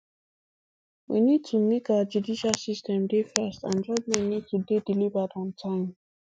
we need to make our judicial system dey fast and judgement need to dey delivered on time